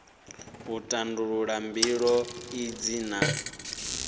u tandulula mbilo idzi na